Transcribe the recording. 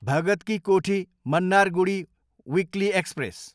Bhagat ki Kothi, Mannargudi weekly express